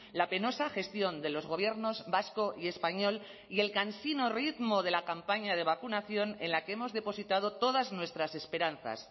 la penosa gestión de los gobiernos vasco y español y el cansino ritmo de la campaña de vacunación en la que hemos depositado todas nuestras esperanzas